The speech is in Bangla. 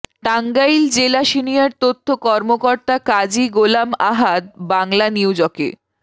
টাঙ্গাইল জেলা সিনিয়র তথ্য কর্মকর্তা কাজী গোলাম আহাদ বাংলানিউজকে